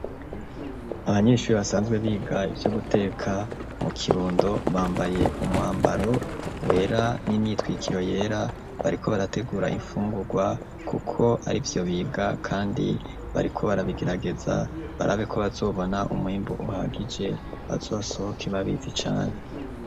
Abanyeshure basanzwe biga ivyo guteka, mu Kirundo, bambaye umwambaro wera n'imyitwikiro yera, bariko barategura imfungurwa kuko arivyo biga kandi bariko barabigerageza barabe ko bazobona umwimbu uhagije, bazosohoke babizi cane.